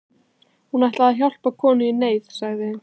Hún ætlaði að hjálpa konu í neyð, sagði